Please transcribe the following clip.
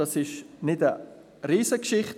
Es ist keine Riesengeschichte.